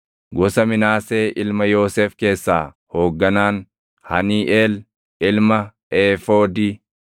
gosa Minaasee ilma Yoosef keessaa hoogganaan, Haniiʼeel ilma Eefoodi;